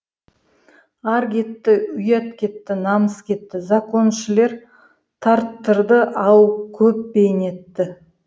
ар кетті ұят кетті намыс кетті законшілер тарттырды ау көп бейнетті